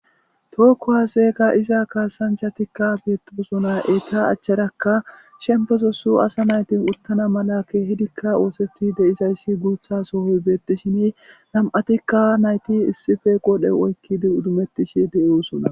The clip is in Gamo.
Tookko haaseega iza kaasancha tikka beetosona eyta achcharakka shembesosu asa naytin uttana mala keehidikka ooseti deizayssi guutha sohoy beettishini nam7atikka nayti issife qodhe oykkidi udumettishi de7eosona.